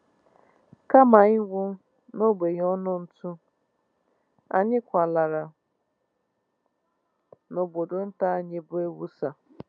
Kama ịnwụ n’ogbenye ọnụ ntụ, anyị kwalara n’obodo nta anyị bụ́ Ewossa